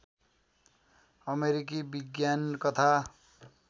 अमेरिकी विज्ञान कथा